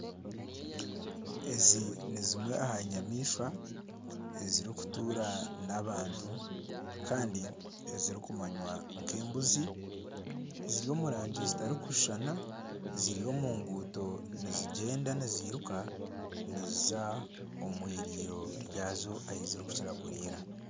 Ezi ni zimwe aha nyamaishwa ezirikutuura n'abantu ezirikumanywa nk'embuzi ziri omu rangi zitarikushushana ziri omu nguuto nizigyenda niziruka niziza omu eiriiro ryazo ahu zirikukira kuriira